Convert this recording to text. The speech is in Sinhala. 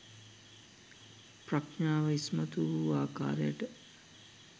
ප්‍රඥාව ඉස්මතු වූ ආකාරයට